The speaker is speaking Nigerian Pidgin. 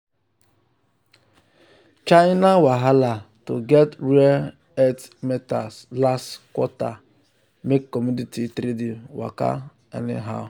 um china wahala to get rare earth metals last quarter make commodity trading waka anyhow.